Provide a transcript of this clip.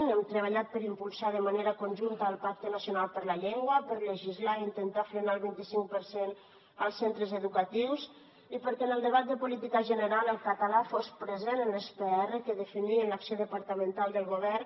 hem treballat per impulsar de manera conjunta el pacte nacional per la llengua per legislar i intentar frenar el vint i cinc per cent als centres educatius i perquè en el debat de política general el català fos present en les pr que definien l’acció departamental del govern